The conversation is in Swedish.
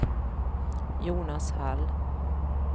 Jonas Hall